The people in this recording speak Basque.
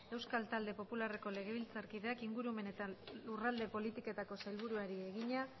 euskal talde popularreko legebiltzarkideak ingurumen eta lurralde politikako sailburuari egina